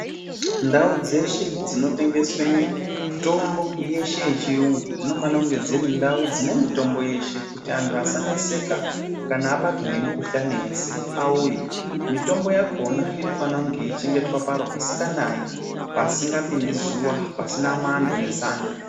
Ndau dzeshe dzinotengeswa mitombo yeshe yechirungu dzinofana kunge dziri ndau dzine mitombo yeshe kuti antu asaneseka kana abatwa nemikuhlani yese auye mitombo yakona inofana yeichengetwa paro pasinganayi pasingapindi zuwa pasina mwando nezando.